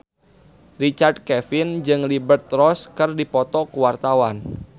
Richard Kevin jeung Liberty Ross keur dipoto ku wartawan